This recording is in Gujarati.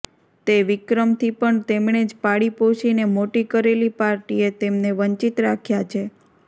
તે વિક્રમથી પણ તેમણે જ પાળીપોષીને મોટી કરેલી પાર્ટીએ તેમને વંચિત રાખ્યા છે